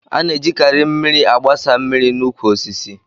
A na-ejikarị igbé mmiri agbasa mmiri n'ukwu osisi